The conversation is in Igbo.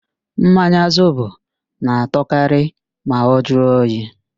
Mmanya Zobo na-atọkarị ma ọ jụọ oyi